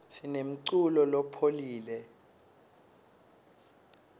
sinemculo lophoule